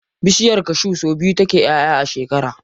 Bishiyar cashew sau biyu take ƴaʼƴa a shekara.